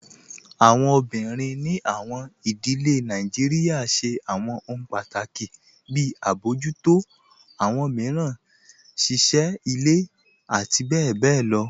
Awọn obìnrin ní awọn ìdílẹ̀ Nàìjíríà ṣẹ̀ awọn òhun pátákì, bí àbọjútọ̀ awọn miíràn, ṣíṣẹ́ ilẹ̀, àti bẹ̀bẹ̀ lọ.